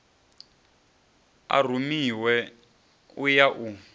a rumiwe u ya u